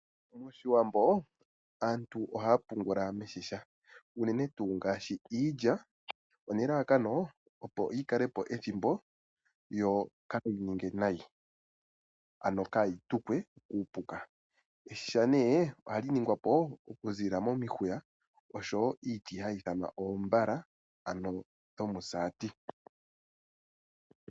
Moshiwambo aantu ohaya pungula miigandhi unene tuu ngaashi iilya nelalakano opo yikalepo ethimbo yo kayi ningwe nayi ano kayi tukwe kuupuka. Iigandhi nee ohali ningwapo okuziilila momihuya oshowo iiti hayi ithanwa oombala ano dhomusaati.